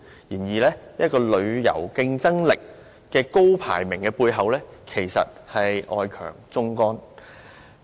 然而，旅遊競爭力的高排名背後，其實外強中乾。